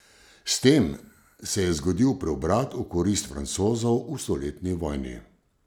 S tem se je zgodil preobrat v korist Francozov v stoletni vojni.